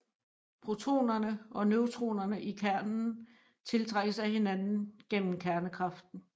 Protonerne og neutronerne i kernen tiltrækkes af hinanden gennem kernekraften